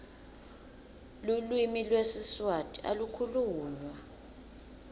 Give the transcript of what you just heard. lulwimi lwesiswati alu khulunywa